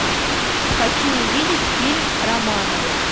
хочу увидеть фильм романовы